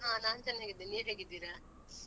ಹ ನಾನ್ ಚೆನ್ನಾಗಿದ್ದೇನ್ ನೀವ್ ಹೇಗಿದ್ದೀರ?